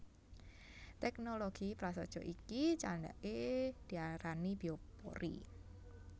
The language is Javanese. Teknologi prasaja iki candhake diarani biopori